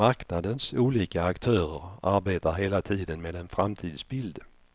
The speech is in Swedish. Marknadens olika aktörer arbetar hela tiden med en framtidsbild.